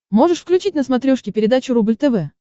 можешь включить на смотрешке передачу рубль тв